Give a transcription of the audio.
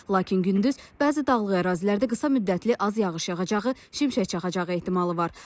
Lakin gündüz bəzi dağlıq ərazilərdə qısa müddətli az yağış yağacağı, şimşək çaxacağı ehtimalı var.